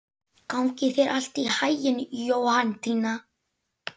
Gangi þér allt í haginn, Jóhanndína.